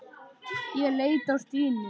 Ég leit á Stínu.